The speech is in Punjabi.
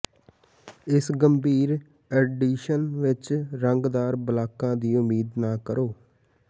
ਇਸ ਗੰਭੀਰ ਐਡੀਸ਼ਨ ਵਿਚ ਰੰਗਦਾਰ ਬਲਾਕਾਂ ਦੀ ਉਮੀਦ ਨਾ ਕਰੋ